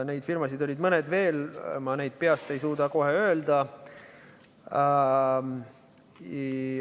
Neid firmasid oli mõni veel, ma peast ei suuda kohe öelda.